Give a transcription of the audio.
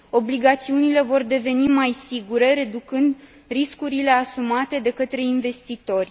obligațiunile vor deveni mai sigure, reducând riscurile asumate de către investitori.